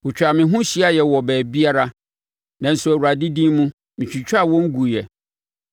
Wɔtwaa me ho hyiaeɛ wɔ baabiara, nanso Awurade din mu, metwitwaa wɔn guiɛ.